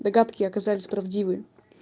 догадки оказались правдивы